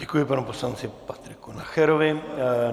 Děkuji panu poslanci Patriku Nacherovi.